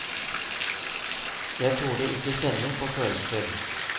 Jeg torde ikke kjenne på følelser.